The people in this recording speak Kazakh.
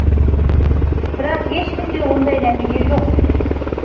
бірақ ешкімде ондай нәтиже жоқ